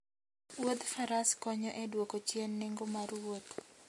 Wuodh Faras konyo e dwoko chien nengo mar wuoth.